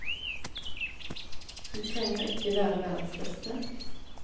Du trenger ikke være verdens beste.